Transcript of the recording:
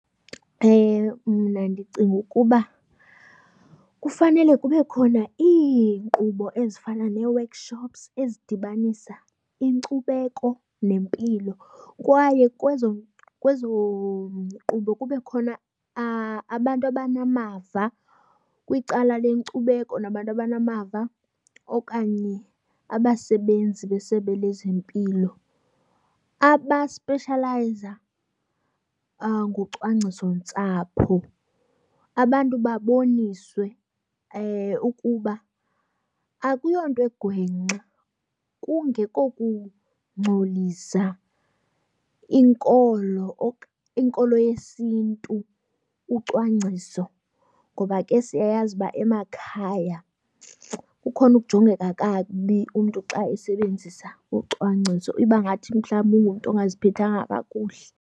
Mna ndicinga ukuba kufanele kube khona iinkqubo ezifana nee-workshops ezidibanisa inkcubeko nempilo kwaye kwezo kwezo nkqubo kube khona abantu abanamava kwicala lenkcubeko nabantu abanamava okanye abasebenzi besebe lezempilo abaspeshalayiza ngocwangcisontsapho. Abantu baboniswe ukuba akuyonto egwengxe kungeko kungcolisa inkolo, inkolo yesiNtu ucwangciso. Ngoba ke siyayazi uba emakhaya kukhona ukujongeka kakubi umntu xa esebenzisa ucwangciso, iba ngathi mhlawumbi ungumntu ongaziphethanga kakuhle.